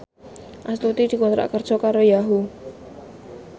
Astuti dikontrak kerja karo Yahoo!